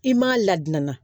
I m'a ladianna